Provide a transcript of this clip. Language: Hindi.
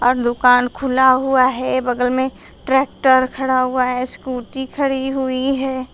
दुकान खुला हुआ है बगल में ट्रैक्टर खड़ा हुआ है स्कूटी खड़ी हुई है।